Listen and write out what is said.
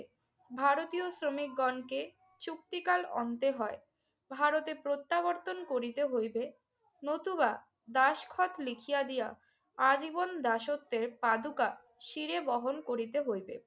ভারতীয় শ্রমিকগণকে চুক্তিকাল অন্তে হয়। ভারতে প্রত্যাবর্তন করিতে হইবে। নতুবা দাসখত লিখিয়া দিয়া আজীবন দাসত্বের পাদুকা শিরে বহন করিতে হইবে